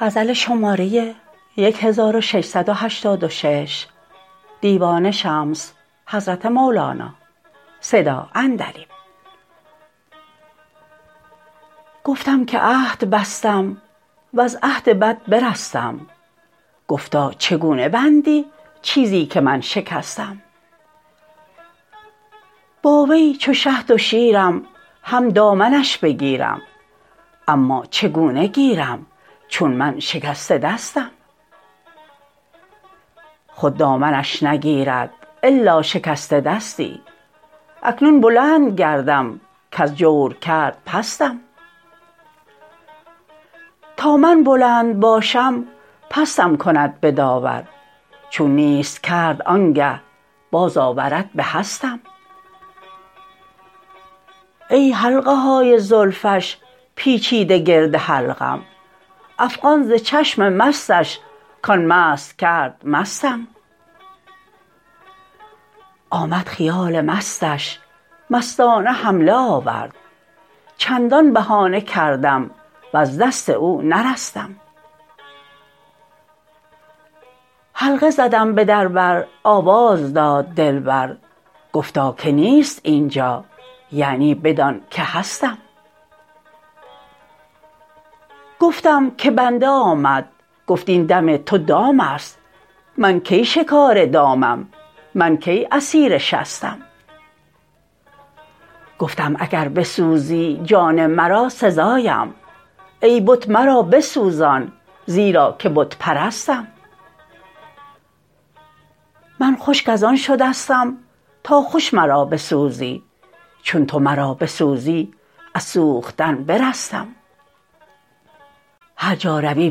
گفتم که عهد بستم وز عهد بد برستم گفتا چگونه بندی چیزی که من شکستم با وی چو شهد و شیرم هم دامنش بگیرم اما چگونه گیرم چون من شکسته دستم خود دامنش نگیرد الا شکسته دستی اکنون بلند گردم کز جور کرد پستم تا من بلند باشم پستم کند به داور چون نیست کرد آنگه بازآورد به هستم ای حلقه های زلفش پیچیده گرد حلقم افغان ز چشم مستش کان مست کرد مستم آمد خیال مستش مستانه حمله آورد چندان بهانه کردم وز دست او نرستم حلقه زدم به در بر آواز داد دلبر گفتا که نیست این جا یعنی بدان که هستم گفتم که بنده آمد گفت این دم تو دام است من کی شکار دامم من کی اسیر شستم گفتم اگر بسوزی جان مرا سزایم ای بت مرا بسوزان زیرا که بت پرستم من خشک از آن شدستم تا خوش مرا بسوزی چون تو مرا بسوزی از سوختن برستم هر جا روی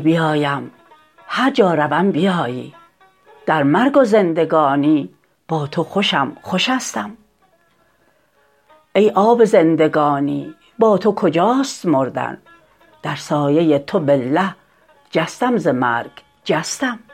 بیایم هر جا روم بیایی در مرگ و زندگانی با تو خوشم خوشستم ای آب زندگانی با تو کجاست مردن در سایه تو بالله جستم ز مرگ جستم